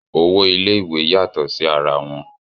owó ilé ìwé yàtọ̀ sí ara wọn